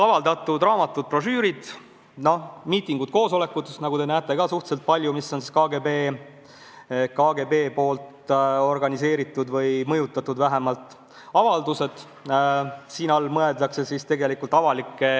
Avaldatud raamatud, brošüürid, miitingud, koosolekud, mis on KGB organiseeritud või vähemalt mõjutatud – nagu te näete, neid on ka suhteliselt palju.